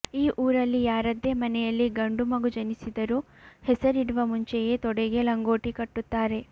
ಈ ಊರಲ್ಲಿ ಯಾರದ್ದೇ ಮನೆಯಲ್ಲಿ ಗಂಡು ಮಗು ಜನಿಸಿದರೂ ಹೆಸರಿಡುವ ಮುಂಚೆಯೇ ತೊಡೆಗೆ ಲಂಗೋಟಿ ಕಟ್ಟುತ್ತಾರೆ